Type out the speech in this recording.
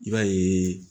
I b'a ye